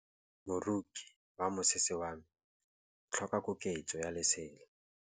Moroki wa mosese wa me o tlhoka koketsô ya lesela.